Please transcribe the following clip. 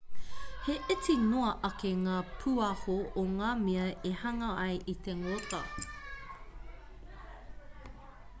he iti noa ake ngā pūaho i ngā mea e hanga ai i te ngota